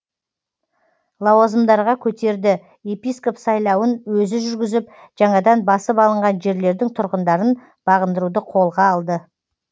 лауазымдарға көтерді епископ сайлауын өзі жүргізіп жаңадан басып алынған жерлердің тұрғындарын бағындыруды қолға алды